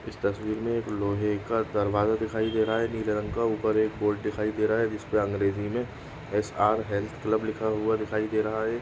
इस तस्वीर में एक लोहे का दरवाजा दिखाई दे रहा है नीले रंग का ऊपर एक बोर्ड दिखाई दे रहा है जिस पर अंग्रेजी में एस.आर.ऐन हेल्थ क्लब लिखा हुआ दिखाई दे रहा है।